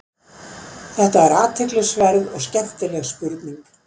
Þetta er athyglisverð og skemmtileg spurning.